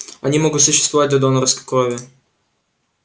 они могут существовать на донорской крови